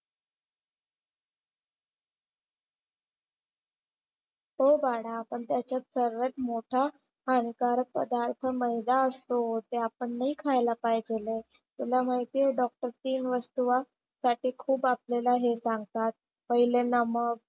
हो बाळा पण त्याच्यात सर्वात मोठा हानिकारक पदार्थ मैदा असतो. ते आपण नाही खायला पाहिजेल आहे. तुला माहिती आहे डॉक्टर तीन वस्तू वा साठी खूप आपल्याला हे सांगतात, पहिले नमक,